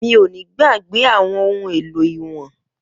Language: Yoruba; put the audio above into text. Mi o ni gbagbe awọn ohun elo iwọn